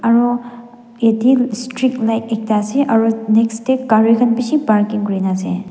aro ete street light ekta ase aro next te gari khan bishi parking kori na ase.